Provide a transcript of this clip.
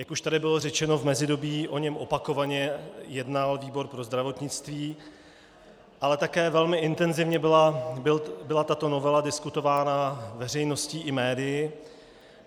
Jak už tady bylo řečeno, v mezidobí o něm opakovaně jednal výbor pro zdravotnictví, ale také velmi intenzivně byla tato novela diskutována veřejností i médii.